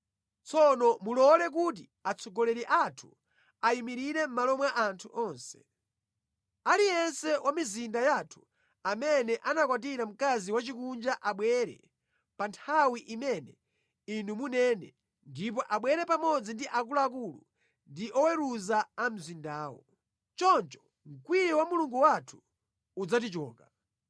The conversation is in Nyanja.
Tsono mulole kuti atsogoleri athu ayimirire mʼmalo mwa anthu onse. Aliyense wa mʼmizinda yathu amene anakwatira mkazi wachikunja abwere pa nthawi imene inu munene, ndipo abwere pamodzi ndi akuluakulu ndi oweruza a mzindawo. Choncho mkwiyo wa Mulungu wathu udzatichoka.”